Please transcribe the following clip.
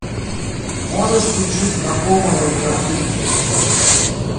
можешь включить знакомые картинки